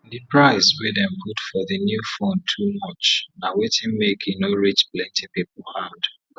d price wey dem put for d new phone too much na wetin make e no reach plenti pipu hand